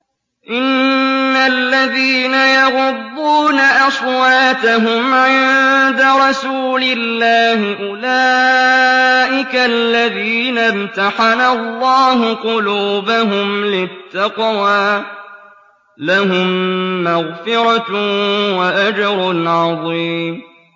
إِنَّ الَّذِينَ يَغُضُّونَ أَصْوَاتَهُمْ عِندَ رَسُولِ اللَّهِ أُولَٰئِكَ الَّذِينَ امْتَحَنَ اللَّهُ قُلُوبَهُمْ لِلتَّقْوَىٰ ۚ لَهُم مَّغْفِرَةٌ وَأَجْرٌ عَظِيمٌ